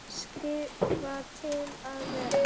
Skrifa til að vera?